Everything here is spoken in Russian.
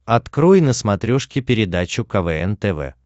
открой на смотрешке передачу квн тв